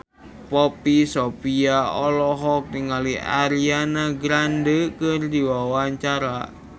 Poppy Sovia olohok ningali Ariana Grande keur diwawancara